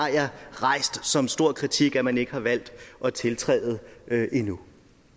rejst det som en stor kritik at man ikke har valgt at tiltræde den endnu